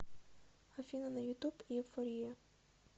афина на ютуб эйфория